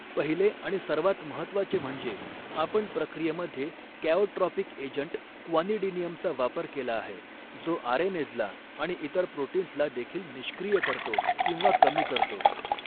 पहिले आणि सर्वात महत्त्वाचे म्हणजे आपण प्रक्रियेमध्ये कॅओट्रॉपिक एजंट क्वानिडिनियमचा वापर केला आहे जो आरएनेजला आणि इतर प्रोटीन्सला देखील निष्क्रिय करतो किंवा कमी करतो.